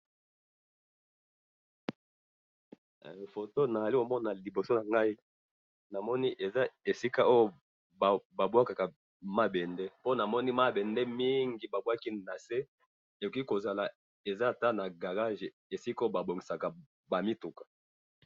Foto nazali komona liboso nangayi awa namoni esika ba bwakaka ba mabembe po namoni mabembe mingi babwaki nase ekoki ata kozala garage esika ba bongisaka ba mituka